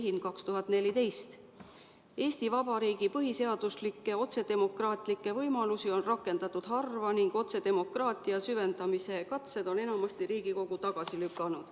Põhiseaduslikke otsedemokraatlikke võimalusi on rakendatud harva ning otsedemokraatia süvendamise katsed on enamasti Riigikogus tagasi lükatud.